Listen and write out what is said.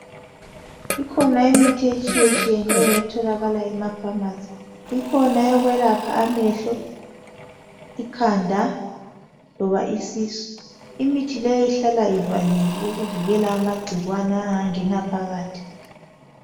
Ikhona imithi etshiyetshiyeno etholakala emapharmacy ikhona oyokwelapha amehlo, ikhanda loba isisu imithi leyo ihlala ivaliwe ukuvikela amagcikwane angangena.